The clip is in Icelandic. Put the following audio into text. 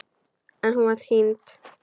En hún var týnd.